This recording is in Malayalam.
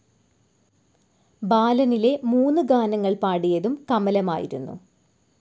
ബാലനിലെ മൂന്നു ഗാനങ്ങൾ പാടിയതും കമലമായിരുന്നു.